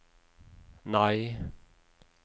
nei